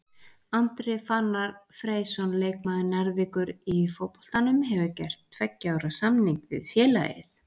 Andri Fannar Freysson leikmaður Njarðvíkur í fótboltanum hefur gert tveggja ára samning við félagið.